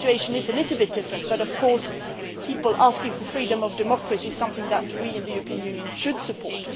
This situation is a little different but, of course, people asking for freedom and democracy is something that we in the European Union should support.